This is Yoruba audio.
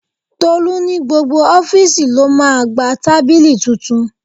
Tolu ní gbogbo ofiisi ló máa gba tábìlì tuntun.